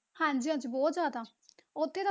ਹਾਂਜੀ ਹਾਂਜੀ ਬਹੁਤ ਜ਼ਿਆਦਾ ਉੱਥੇ,